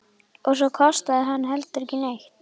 Og svo kostaði hann heldur ekki neitt!